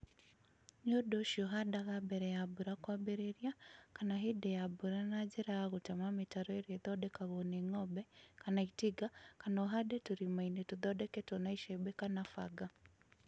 Nĩ ũndũ ũcio, handaga mbere ya mbura kwambĩrĩria kana hĩndĩ ya mbura na njĩra ya gũtema mĩtaro ĩrĩa ĩthondekagwo nĩ ng'ombe kana itinga, kana ũhande tũrimainĩ tũthondeketwo na iceembe kana fanga